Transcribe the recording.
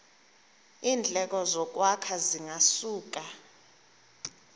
iindleko zokwakha zingasuka